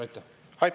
Aitäh!